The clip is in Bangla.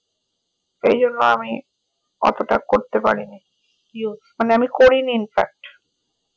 এই জন্য আমি অতটা করতে পারিনি মানে আমি করিনি inpact